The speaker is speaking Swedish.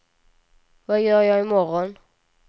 vad gör jag imorgon